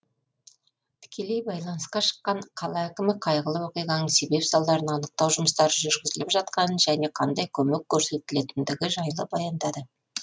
тікелей байланысқа шыққан қала әкімі қайғылы оқиғаның себеп салдарын анықтау жұмыстары жүргізіліп жатқанын және қандай көмек көрсетілетіндігі жайлы баяндады